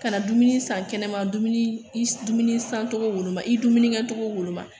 Ka na dumuni san kɛnɛma dumuni i dumuni san togo woloma i dumuni kɛ cogo woloma